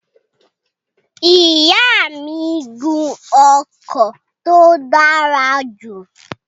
Ìyá mi n gun ọkọ̀ tó dára jù